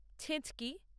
ছেঁচকি